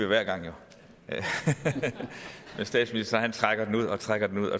hver gang men statsministeren trækker det ud og trækker det ud